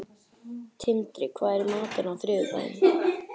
Tindri, hvað er í matinn á þriðjudaginn?